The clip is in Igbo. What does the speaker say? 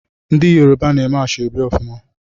Ndị Yoruba na-eme ashọbi ofuma.